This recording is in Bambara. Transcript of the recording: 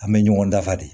An bɛ ɲɔgɔn dafa de